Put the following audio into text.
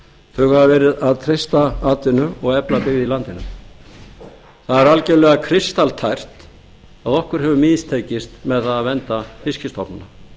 þau hafa verið að treysta atvinnu og efla byggð í landinu það er algerlega kristaltært að okkur hefur mistekist við það að vernda fiskstofna